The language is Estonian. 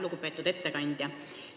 Lugupeetud ettekandja!